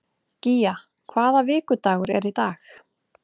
Gía, hvaða vikudagur er í dag?